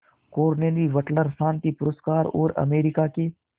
Carnegie वटलर शांति पुरस्कार और अमेरिका के